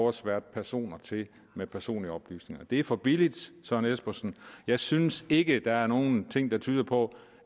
at sværte personer til med personlige oplysninger det er for billigt søren espersen jeg synes ikke der er nogen ting der tyder på